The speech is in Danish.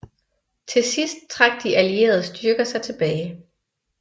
Til sidst trak de allierede styrker sig tilbage